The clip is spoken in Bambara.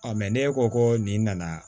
ne ko ko nin nana